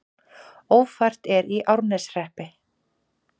Ófært er í Árneshreppi